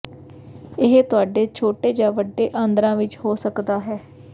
ਇਹ ਤੁਹਾਡੇ ਛੋਟੇ ਜਾਂ ਵੱਡੇ ਆਂਦਰਾਂ ਵਿੱਚ ਹੋ ਸਕਦਾ ਹੈ